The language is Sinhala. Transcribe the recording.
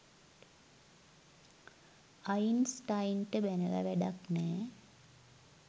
අයින්ස්ටයින්ට බැනල වැඩක් නෑ.